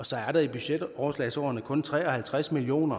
så er der i budgetoverslagsårene kun tre og halvtreds million